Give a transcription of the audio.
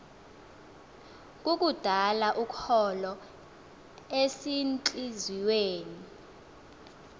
kukudala ukholo ezintliziyweni